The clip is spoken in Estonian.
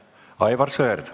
Aivar Sõerd.